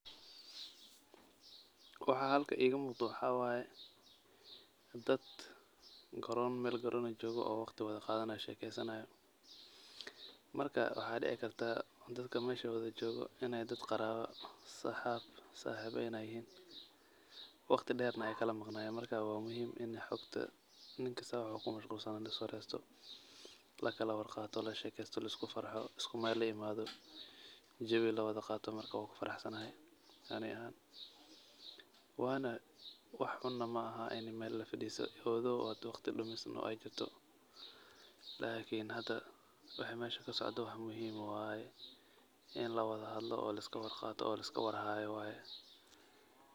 Waxa halkan igamuqdo waxa waye dad meel goron ah jogoo oo waqti wadaqadanayo oo wadashekeysanayo marka waxa dici karta dadka meesha wadajogoo in ey dad qarawo iyo sabix ey yihin waqti deerna ay kalamaqnaye marka wa muhiim ini xogta ninkasta wuxu kumushqulsana laiswaresto, lakalawarqato, lashekesto, laiskufarxo iskumeel laimado jawi lawadaqato marka wankufaraxsanahay ani ahaan wax xuun na maahan in meel lawada faristo although oo hade waqti dumisna ey jirto lakin hada waxa meesha kasocdo wax muhiim ah waye in lawada hadlo oo laiskawarqato oo laiskawarhayo waye.